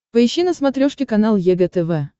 поищи на смотрешке канал егэ тв